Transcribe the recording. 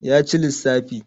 ya ci lissafi